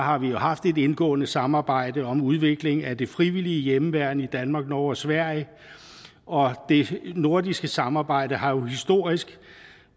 har vi haft et indgående samarbejde om udviklingen af det frivillige i hjemmeværn i danmark norge og sverige og det nordiske samarbejde har jo historisk